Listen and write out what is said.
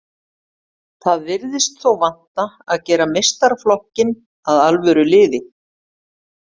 Það virðist þó vanta að gera meistaraflokkinn að alvöru liði.